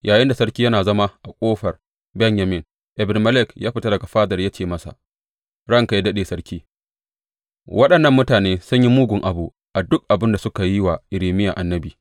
Yayinda sarki yana zama a Ƙofar Benyamin, Ebed Melek ya fita daga fadar ya ce masa, Ranka yă daɗe sarki, waɗannan mutane sun yi mugun abu a duk abin da suka yi wa Irmiya annabi.